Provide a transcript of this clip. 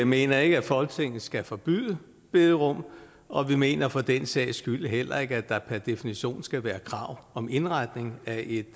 mener ikke at folketinget skal forbyde bederum og vi mener for den sags skyld heller ikke at der per definition skal være et krav om indretning af